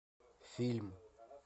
фильм